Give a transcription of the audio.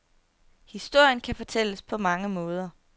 Historien kan fortælles på mange måder.